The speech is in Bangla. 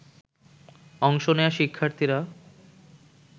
অংশ নেয়া শিক্ষার্থীরা